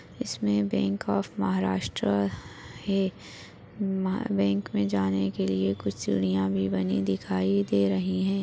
इसमे bank of Maharashtra है bank में जाने के लिये कुछ सिडिया भी बनी हुई दिखाई दे रही है।